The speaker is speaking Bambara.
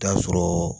Taa sɔrɔ